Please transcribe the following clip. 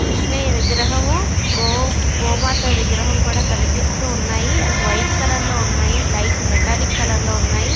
కృష్ణాయ విగ్రహం గో గోమాత విగ్రహము కూడా కనిపిస్తున్నాయి అవి వైట్ కలర్ లో ఉన్నాయి లైట్ మెటాలిక్ కలర్ లో ఉన్నాయి--